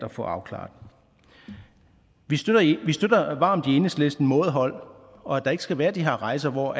at få afklaret vi støtter varmt i enhedslisten mådehold og at der ikke skal være de her rejser hvor